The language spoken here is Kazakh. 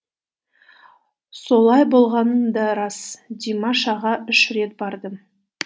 солай болғаны да рас димаш аға үш рет бардым